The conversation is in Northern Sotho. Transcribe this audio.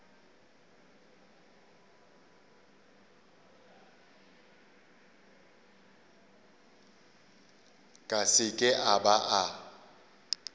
ka seke a ba a